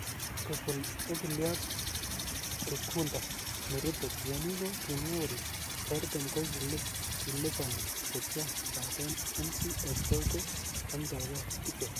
Kobun okiliot Gikunda Miriti, tienik ko kimwa kole safaricom ko kikolipan chechwak kobaten MCSK ko konomdo gee ichek.